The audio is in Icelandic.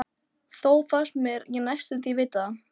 Þó fannst mér ég næstum vita það.